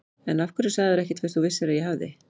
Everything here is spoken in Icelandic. En af hverju sagðirðu ekkert fyrst þú vissir að ég hafði.